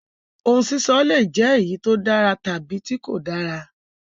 Òun sísọ le jẹ eyi ti o dára tabi tí kò dára.